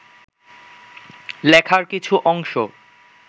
লেখার কিছু অংশ